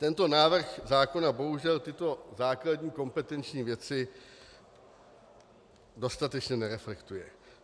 Tento návrh zákona bohužel tyto základní kompetenční věci dostatečně nereflektuje.